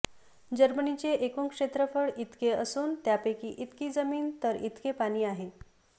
जर्मनीचे एकूण क्षेत्रफळ इतके असून त्यापैकी इतकी जमीन तर इतके पाणी आहे